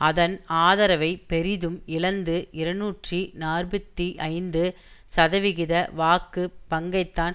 அதன் ஆதரவை பெரிதும் இழந்து இருநூற்றி நாற்பத்தி ஐந்து சதவிகித வாக்கு பங்கைத்தான்